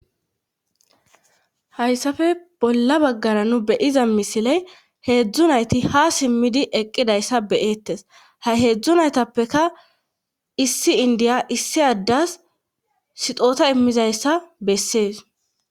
hayssafe bolla baggara nu be'iza misiley heedzdzu nayti ha simmidi eqqidayssa be'eettes ha heedzdzu naytappeka issi indiya issi addas sixoota immizayssa bessees